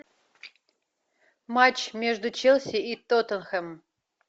матч между челси и тоттенхэм